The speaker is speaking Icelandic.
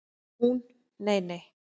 Hún: Nei nei.